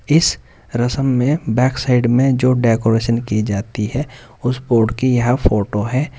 इस रसम में बैक साइड में जो डेकोरेशन की जाती है उस बोर्ड की यह फोटो है।